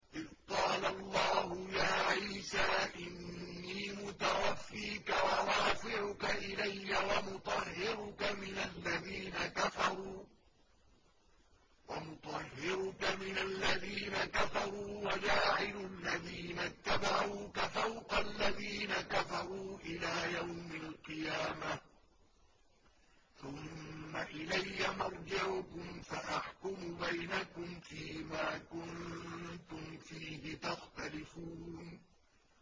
إِذْ قَالَ اللَّهُ يَا عِيسَىٰ إِنِّي مُتَوَفِّيكَ وَرَافِعُكَ إِلَيَّ وَمُطَهِّرُكَ مِنَ الَّذِينَ كَفَرُوا وَجَاعِلُ الَّذِينَ اتَّبَعُوكَ فَوْقَ الَّذِينَ كَفَرُوا إِلَىٰ يَوْمِ الْقِيَامَةِ ۖ ثُمَّ إِلَيَّ مَرْجِعُكُمْ فَأَحْكُمُ بَيْنَكُمْ فِيمَا كُنتُمْ فِيهِ تَخْتَلِفُونَ